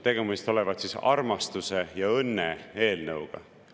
Tegemist olevat armastuse ja õnne eelnõuga.